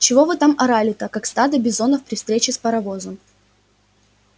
чего вы там орали-то как стадо бизонов при встрече с паровозом